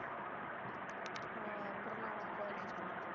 ਹਾਂ, ਗੁਰੂ ਨਾਨਕ ਕੋਲਜ ਚ।